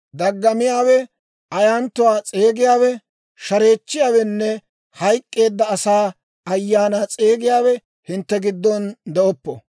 Ayanttiyaawe, ayyaanatuwaa s'eegiyaawe, shareechchiyaawenne hayk'k'eedda asaa ayaanaa s'eegiyaawe hintte giddon de'oppo.